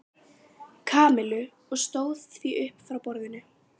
Kamillu og stóð því upp frá borðinu.